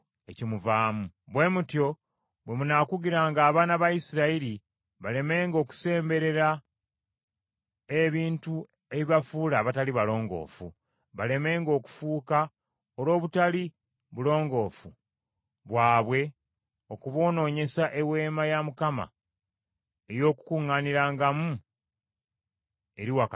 “Bwe mutyo bwe munaakugiranga abaana ba Isirayiri balemenga okusemberera ebintu ebibafuula abatali balongoofu, balemenga okufa olw’obutali bulongoofu bwabwe okuboonoonyesa Eweema ya Mukama eri wakati mu bo.